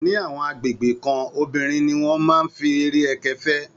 Ní àwọn agbègbè kan, obìnrin ni wọ́n máa ń fi eré ẹkẹ fẹ́